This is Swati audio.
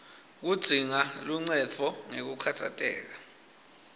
kudzinga luncendvo ngekukhatsateka